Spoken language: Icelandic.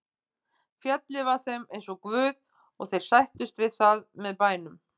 Fjallið var þeim eins og guð og þeir sættust við það með bænum.